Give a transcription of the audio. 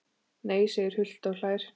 Nei segir Hult og hlær.